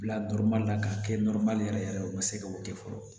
Bila la k'a kɛ yɛrɛ yɛrɛ ye u ma se ka o kɛ fɔlɔ